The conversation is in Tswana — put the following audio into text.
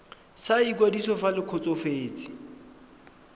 sa ikwadiso fa le kgotsofetse